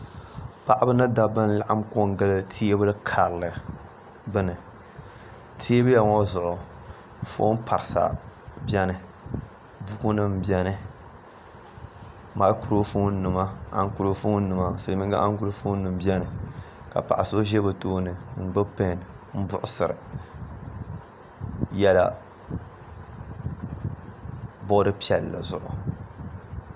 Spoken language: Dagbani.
Paɣaba ni Dabba n laɣam ko n gili teebuli karili gbuni teebuya ŋo zuɣu foon parisa biɛni buku nim biɛni maakuro foon nima ankurofoon nim biɛni ka paɣa so ʒɛ bi tooni n gbubi n puɣusiri yɛla bood piɛlli zuɣu